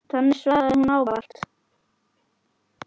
Þannig svaraði þú ávallt.